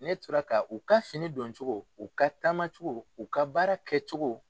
Ne tora k u ka fini dɔncogo u ka taamacogo u ka baara kɛcogo.